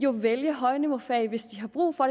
jo vælge højniveaufag hvis de har brug for